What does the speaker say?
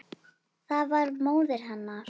Það var móðir hennar.